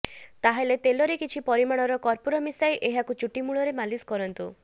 ତାହେଲେ ତେଲରେ କିଛି ପରିମାଣର କର୍ପୁର ମିଶାଇ ଏହାକୁ ଚୁଟି ମୂଳରେ ମାଲିସ କରନ୍ତୁ